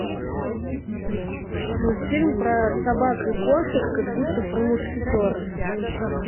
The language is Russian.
мультфильм про собак и кошек как будто про мушкетеров